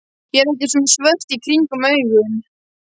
Ég er ekki svona svört í kringum augun.